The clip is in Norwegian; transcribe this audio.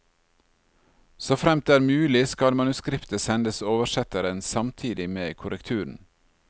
Såfremt det er mulig skal manuskriptet sendes oversetteren samtidig med korrekturen.